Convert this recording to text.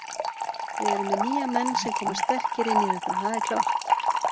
Við erum með nýja menn sem koma sterkir inn í þetta, það er klárt.